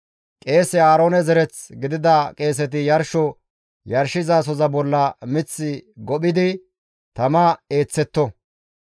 Qeese Aaroone zereth gidida qeeseti yarsho yarshizasoza bolla mith gophidi tama eeththetto.